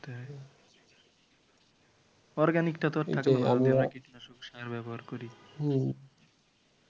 Organic টা তো আর থাকলো না। যদি আমরা কীটনাশক সার ব্যবহার করি